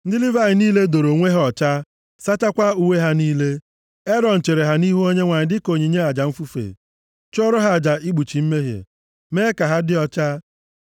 Ndị Livayị niile doro onwe ha ọcha, sachakwaa uwe ha niile. Erọn chere ha nʼihu Onyenwe anyị dịka onyinye aja mfufe, chụọrọ ha aja ikpuchi mmehie, ime ka ha dị ọcha.